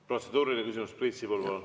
Protseduuriline küsimus, Priit Sibul, palun!